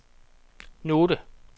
note